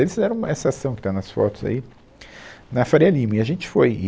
Eles fizeram uma, essa ação que está nas fotos aí, na Faria Lima, e a gente foi. E